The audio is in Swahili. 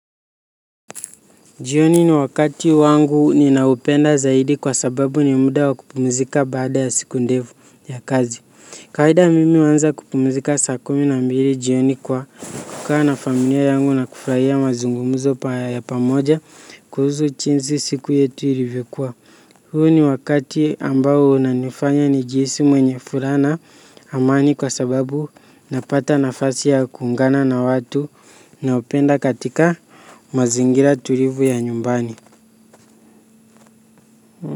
Jioni ni wakati wangu ninaupenda zaidi kwa sababu ni muda wa kupumzika baada ya siku ndefu ya kazi. Kawaida mimi uwanza kupumzika sakumi na mbili jioni kwa kukaa na familia yangu na kufraia mazungumuzo paya ya pamoja kuhuzu chinzi siku yetu ilivokua. Huu ni wakati ambao unanifanya nijisu mwenye fura na amani kwa sababu napata nafasi ya kuungana na watu naopenda katika mazingira tulivu ya nyumbani.